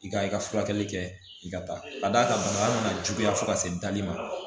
I ka i ka furakɛli kɛ i ka taa ka d'a ka bana bɛna juguya fo ka se dali ma